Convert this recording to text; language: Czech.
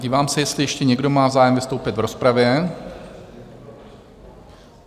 Dívám se, jestli ještě někdo má zájem vystoupit v rozpravě.